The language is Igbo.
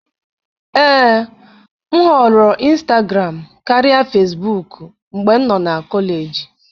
Ee, m họọrọ ịnstagram karịa Fesbuk mgbe m nọ na kọleji.